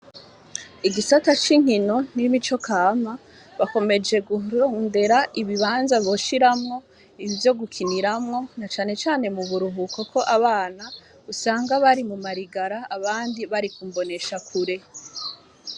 Igisata c'inkino n'imico kama, bakomeje kurondera ibibanza boshiramwo ivyo gukiniramwo, na cane cane mu buruhuko kuko abana usanga bari muma ligala, abandi bari ku mboneshakure.